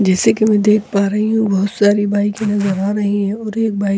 जैसे की मैं देख पा रही हूं बहोत सारी बाइक नजर आ रही है और एक बाइक --